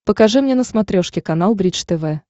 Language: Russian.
покажи мне на смотрешке канал бридж тв